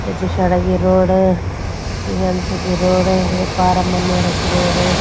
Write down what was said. या जोशियाड़ा की रोड़ या ज्ञानसू की रोड़ या पारा मन्यारा की रोड़ ।